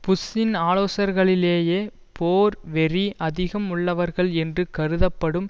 புஷ்ஷின் ஆலோசகர்களிலேயே போர் வெறி அதிகம் உள்ளவர்கள் என்று கருதப்படும்